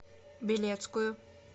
белецкую